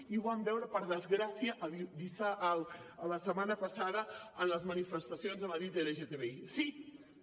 i ho vam veure per desgràcia la setmana passada en les manifestacions a madrid lgbti